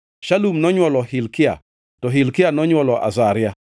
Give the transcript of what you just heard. Shalum nonywolo Hilkia, to Hilkia nonywolo Azaria,